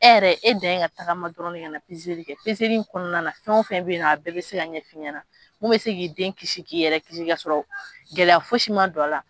E yɛrɛ e de ka tagama dɔrɔn ka na li kɛ kɔnɔna na fɛn o fɛn bɛ yen nɔ a bɛɛ bɛ se ka ɲɛfɔ i ɲɛnaɲɛna n bɛ se k'i den k'i yɛrɛ kisi ka sɔrɔ gɛlɛya fosi ma don a la